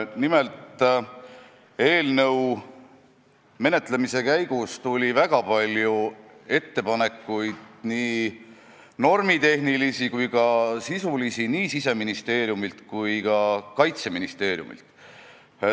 Nimelt, eelnõu menetlemise käigus tuli väga palju ettepanekuid, normitehnilisi ja sisulisi, nii Siseministeeriumilt kui ka Kaitseministeeriumilt.